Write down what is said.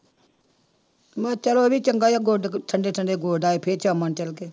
ਮੈਂ ਚੱਲ ਉਹ ਵੀ ਚੰਗਾ ਹੀ ਆ ਗੁੱਡ ਠੰਢੇ ਠੰਢੇ ਗੁੱਡ ਆਏ ਫਿਰ ਸ਼ਾਮਾਂ ਨੂੰ ਚਲੇ ਗਏ।